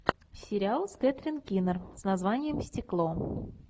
сериал с кэтрин кинер с названием стекло